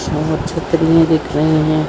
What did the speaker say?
छत्री ही दिख रहे है।